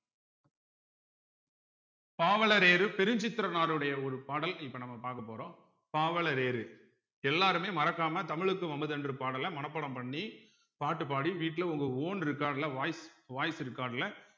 பாவலரேறு பெருஞ்சித்திரனாருடைய ஒரு பாடல் இப்ப நம்ம பார்க்க போறோம் பாவலரேறு எல்லாருமே மறக்காம தமிழுக்கு அமுதென்று பாடல மனப்பாடம் பண்ணி பாட்டு பாடி வீட்டுல உங்க own record ல voice voice record ல